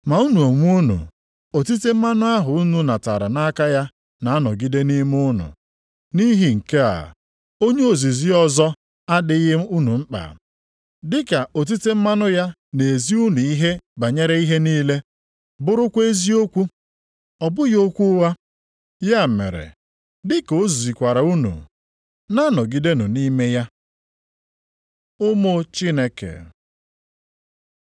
Ma unu onwe unu, otite mmanụ ahụ unu natara nʼaka ya na-anọgide nʼime unu, nʼihi nke a, onye ozizi ọzọ adịghị unu mkpa. Dịka otite mmanụ ya na-ezi unu ihe banyere ihe niile, bụrụkwa eziokwu, ọ bụghị okwu ụgha. Ya mere, dịka o zikwara unu, na-anọgidenụ nʼime ya. Ụmụ Chineke